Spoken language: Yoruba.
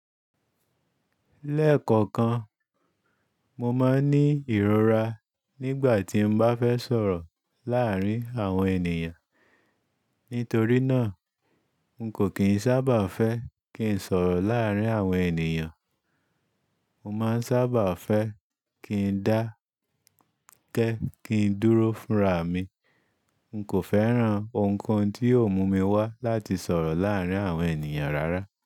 Lẹ́ẹ̀kọ̀kan, mo máa ń ní ìrora nígbà tí n bá fẹ́ sọ̀rọ̀ láàárín àwọn ènìyàn. Nítorí náà, n kò kì í sábà fẹ́ kí n sọ̀rọ̀ láàárín àwọn ènìyàn. Mo máa ń sábà fẹ́ kí n dákẹ́, kí n dúró fúnra mi. N kò fẹ́ràn ohunkohun tí ó mú mi wá láti sọ̀rọ̀ láàárín àwọn ènìyàn rárá.